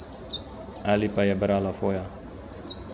Ali pa je brala Foja?